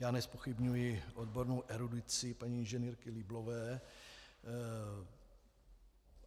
Já nezpochybňuji odbornou erudici paní inženýrky Lieblové.